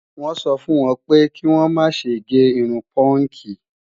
Wọ́n sọ fún wọn pé kí wọ́n má ṣe gé irun púùnkì